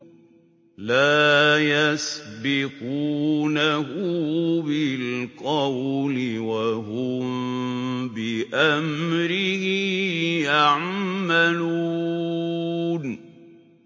لَا يَسْبِقُونَهُ بِالْقَوْلِ وَهُم بِأَمْرِهِ يَعْمَلُونَ